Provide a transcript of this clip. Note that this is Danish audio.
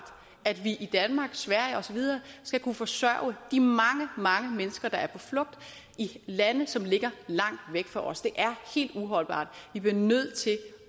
at vi i danmark sverige og så videre skal kunne forsørge de mange mange mennesker der er på flugt i lande som ligger langt væk fra os det er helt uholdbart vi bliver nødt til